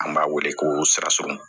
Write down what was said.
An b'a wele ko sira sunw